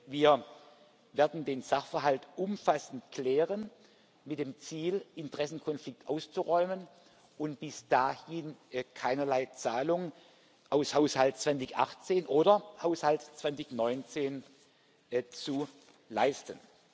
Wir werden den Sachverhalt umfassend klären mit dem Ziel, Interessenkonflikt auszuräumen und bis dahin keinerlei Zahlung aus dem Haushalt 2018 oder dem Haushalt 2019 zu leisten.